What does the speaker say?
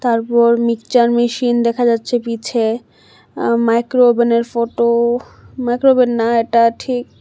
তারপর mixer machine দেখা যাচ্ছে পিছে মাইক্রোওভেনের ফটো মাইক্রোওভেন না এটা ঠিক।